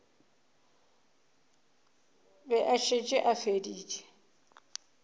be a šetše a feditše